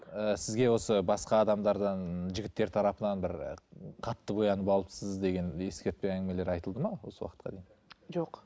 ыыы сізге осы басқа адамдардан жігіттер тарапынан бір қатты боянып алыпсыз деген ескертпе әңгімелер айтылды ма осы уақытқа дейін жоқ